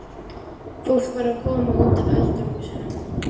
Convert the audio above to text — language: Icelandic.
Fólk var að koma út af öldurhúsunum.